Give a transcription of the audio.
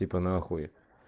типа нахуй